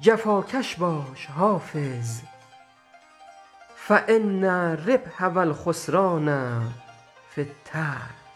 جفاکش باش حافظ فان الربح و الخسران في التجر